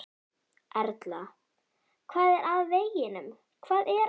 Erla: Hvað er að veginum, hvað er að?